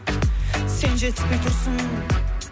сен жетіспей тұрсың